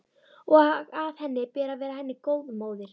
Og að henni ber að vera henni góð móðir.